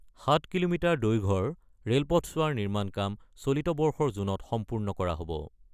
৭ kilometre দৈৰ্ঘৰ ৰে'লপথছোৱাৰ নিৰ্মাণ কাম চলিত বৰ্ষৰ জুনত সম্পূৰ্ণ কৰা হব।